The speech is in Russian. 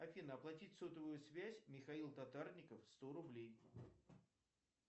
афина оплатить сотовую связь михаил татарников сто рублей